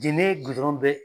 Jɛnɛ gudɔrɔn bɛ